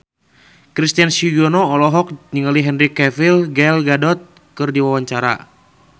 Christian Sugiono olohok ningali Henry Cavill Gal Gadot keur diwawancara